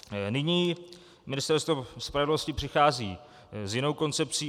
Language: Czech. Nyní Ministerstvo spravedlnosti přichází s jinou koncepcí.